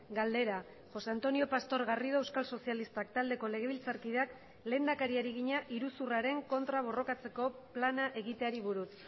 galdera josé antonio pastor garrido euskal sozialistak taldeko legebiltzarkideak lehendakariari egina iruzurraren kontra borrokatzeko plana egiteari buruz